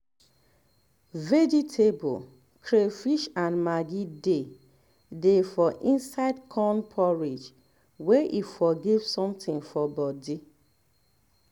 vegetable crayfish and maggi dey dey for inside corn porridge may e for give something for body